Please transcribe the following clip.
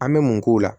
An bɛ mun k'u la